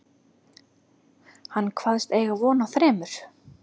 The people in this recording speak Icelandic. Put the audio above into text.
Hann kvaðst eiga von á þremur